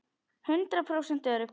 Hundrað prósent örugg!